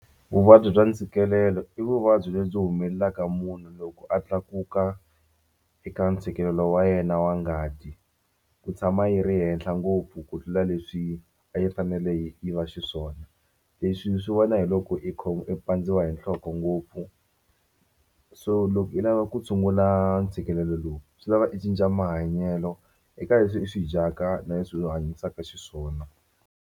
Vuvabyi bya ntshikelelo i vuvabyi lebyi humelelaka munhu loko a tlakuka eka ntshikelelo wa yena wa ngati ku tshama yi ri henhla ngopfu ku tlula leswi a yi fanele yi yi va xiswona leswi i swi vona hi loko i i pandziwa hi nhloko ngopfu so loko i lava ku tshungula ntshikelelo lowu swi lava i cinca mahanyelo eka leswi i swi dyaka na leswi i hanyisaka xiswona.